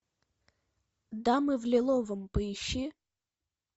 дамы в лиловом поищи